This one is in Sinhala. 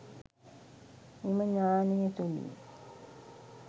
මෙම ඤාණය තුළින්